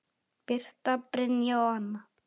Birta, Brynja og Anna.